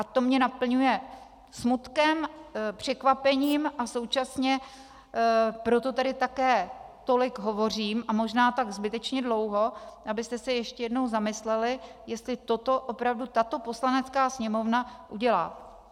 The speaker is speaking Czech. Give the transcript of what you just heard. A to mě naplňuje smutkem, překvapením, a současně proto tady také tolik hovořím, a možná tak zbytečně dlouho, abyste se ještě jednou zamysleli, jestli toto opravdu tato Poslanecká sněmovna udělá.